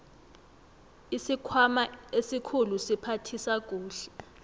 isikhwama esikhulu siphathisa kuhle